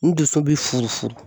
N duso bi furu furu.